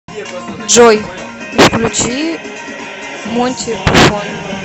джой включи монти питон